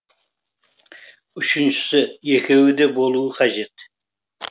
үшіншісі екеуі де болуы қажет